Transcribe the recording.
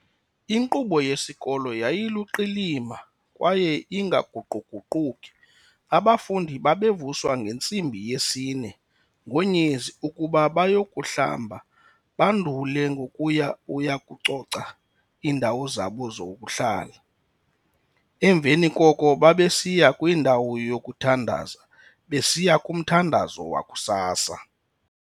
Inkqubo yesikolo yayiluqilima kwaye ingaguquguquki, abafundi babevuswa ngentsimbi yesi-4, ngonyezi, ukuba bayokuhlamba bandule ngokuya ukuyakucoca iindawo zabo zokuhlala, emveni koko babesiya kwindawo yokuthandaza besiya kumthandazo wakusasa.